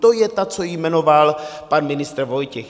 To je ta, co ji jmenoval pan ministr Vojtěch.